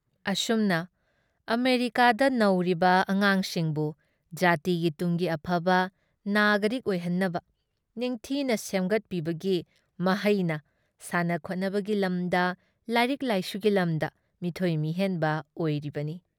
ꯑꯁꯨꯝꯅ ꯑꯃꯦꯔꯤꯀꯥꯗ ꯅꯧꯔꯤꯕ ꯑꯉꯥꯡꯁꯤꯡꯕꯨ ꯖꯥꯇꯤꯒꯤ ꯇꯨꯡꯒꯤ ꯑꯐꯕ ꯅꯥꯒꯔꯤꯛ ꯑꯣꯏꯍꯟꯅꯕ ꯅꯤꯡꯊꯤꯅ ꯁꯦꯝꯒꯠꯄꯤꯕꯒꯤ ꯃꯍꯩꯅ ꯁꯥꯟꯅꯈꯣꯠꯅꯕꯒꯤ ꯂꯝꯗ, ꯂꯥꯏꯔꯤꯛ ꯂꯥꯏꯁꯨꯒꯤ ꯂꯝꯗ ꯃꯤꯊꯣꯏ ꯃꯤꯍꯦꯟꯕ ꯑꯣꯏꯔꯤꯕꯅꯤ ꯫